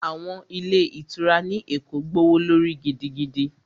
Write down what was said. Àwọn ilé ìtura ní Èkó gbówó lórí gidigidi